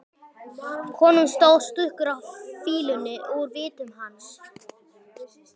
Konum stóð stuggur af fýlunni úr vitum hans.